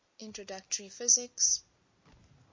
introductory physics